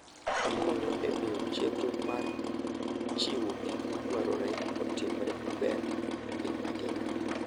Okonyo e miyo chenro mar chiwo gik madwarore otimre maber e piny mangima.